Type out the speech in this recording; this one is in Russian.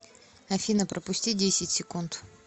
афина пропусти десять секунд